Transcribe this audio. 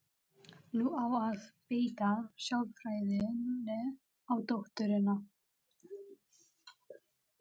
Nú á að beita sálfræðinni á dótturina.